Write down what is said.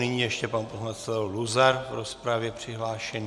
Nyní ještě pan poslanec Leo Luzar v rozpravě přihlášený.